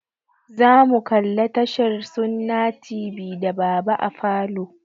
Zamu kalla tashar sunna tv da baba a falo.